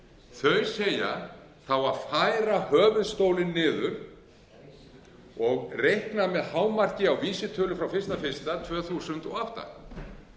þau segja það á að færa höfuðstólinn niður og reikna með hámarki á vísitölu frá einu eitt tvö þúsund og átta